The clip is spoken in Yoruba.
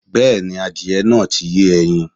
Bẹ́ẹ̀̀ni, adìyẹ náà ti yé ẹyin